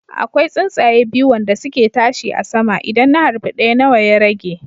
Akwai tsuntsaya biyu wande suke tashi a sama, idan na harbi ɗaya nawa ya rage